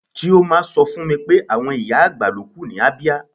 Chioma sọ fún mi pé àwọn ìyá-àgbà ló kù ní Abia.